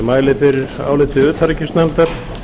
mæli fyrir áliti utanríkisnefndar